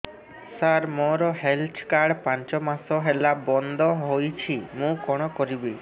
ସାର ମୋର health card ପାଞ୍ଚ ମାସ ହେଲା ବଂଦ ହୋଇଛି ମୁଁ କଣ କରିବି